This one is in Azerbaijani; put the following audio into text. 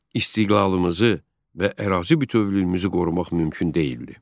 İstiqlalımızı və ərazi bütövlüyümüzü qorumaq mümkün deyildi.